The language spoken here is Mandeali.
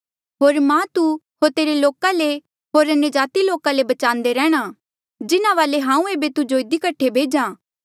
होर मां तू तेरे लोका ले होर अन्यजाति लोका ले बचान्दे रैंहणां जिन्हा वाले हांऊँ एेबे तुजो इधी कठे भेज्हा